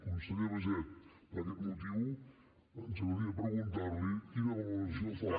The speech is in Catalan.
conseller baiget per aquest motiu ens agradaria preguntar li quina valoració fa